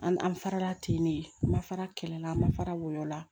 An an fara la ten de an ma fara kɛlɛ la an ma fara wola